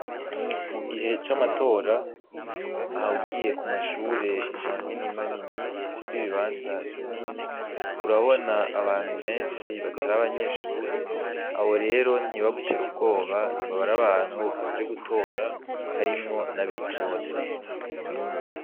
Mugihe c'amatora aha ugiye ku mashure manini manini afise ibibanza binini urabona abantu benshi batari abanyeshuri abo rero ntibagutere ubwoba baba ari abantu baje gutora harimwo n' abitoza.